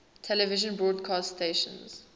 television broadcast stations